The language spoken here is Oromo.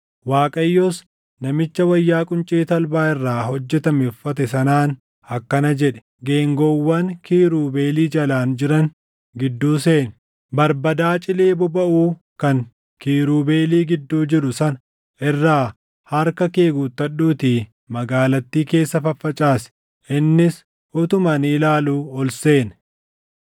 Waaqayyos namicha wayyaa quncee talbaa irraa hojjetame uffate sanaan akkana jedhe; “Geengoowwan kiirubeelii jalaan jiran gidduu seeni. Barbadaa cilee bobaʼuu kan kiirubeelii gidduu jiru sana irraa harka kee guuttadhuutii magaalattii keessa faffacaasi.” Innis utuma ani ilaaluu ol seene.